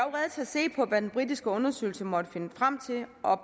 til at se på hvad den britiske undersøgelse måtte finde frem til og